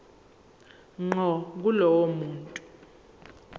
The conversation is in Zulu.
ngqo kulowo muntu